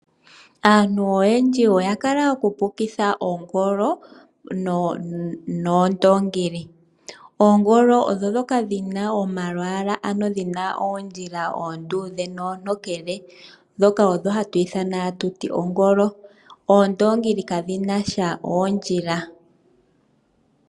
Aantu oyendji oya kala noku pukitha ongolo nondoongi. Oongolo odhina omalwalwa omatokele nomaluudhe, oondongi kadhi nasha oondjila.